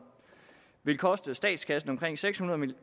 vil koste statskassen omkring seks hundrede